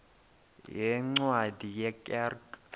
yeencwadi ye kerk